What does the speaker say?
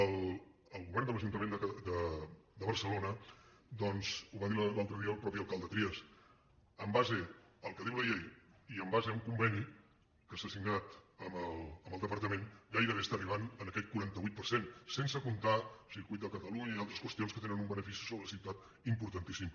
el govern de l’ajuntament de barcelona doncs ho va dir l’altre dia el mateix alcalde trias en base al que diu la llei i en base a un conveni que s’ha signat amb el departament gairebé està arribant a aquest quaranta vuit per cent sense comptar hi el circuit de catalunya i altres qüestions que tenen un benefici sobre la ciutat importantíssim